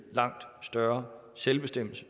langt større selvbestemmelse